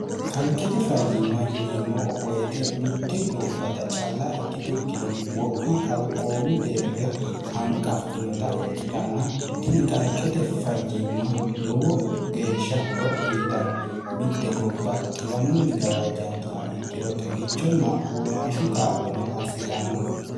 kalqete fayyimma yineemmoo woyite mitte gobbata calla ikkitukkinni wo'ma kalqoomu deerra hanqaffinota ikkitanna tini qalqete fayyimma lowo geeshsha horo uyitanno mitte gobba xiwanunni gawaajjantuha ikkiro xagichonna womaashu kaa'lono assitanno